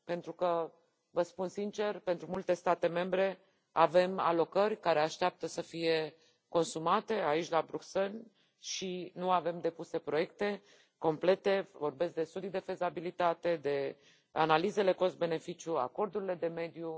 Pentru că, vă spun sincer, pentru multe state membre avem alocări care așteaptă să fie consumate aici la Bruxelles și nu avem depuse proiecte complete, vorbesc de studii de fezabilitate, de analizele cost beneficiu, acordurile de mediu.